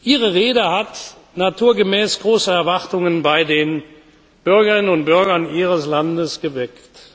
Ihre Rede hat naturgemäß große Erwartungen bei den Bürgerinnen und Bürgern Ihres Landes geweckt.